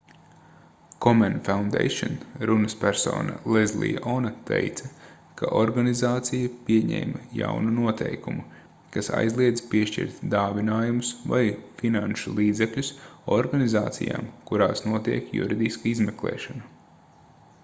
komen foundation runaspersona lezlija ona teica ka organizācija pieņēma jaunu noteikumu kas aizliedz piešķirt dāvinājumus vai finanšu līdzekļus organizācijām kurās notiek juridiska izmeklēšana